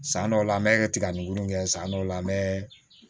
San dɔw la an bɛ tiga nigini kɛ san dɔw la an bɛ